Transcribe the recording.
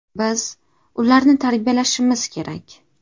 Biz ularni tarbiyalashimiz kerak.